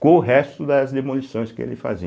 com o resto das demolições que ele fazia.